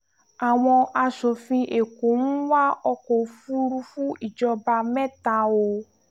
àwọn aṣòfin èkó ń wa ọkọ̀-òfurufú ìjọba mẹ́ta o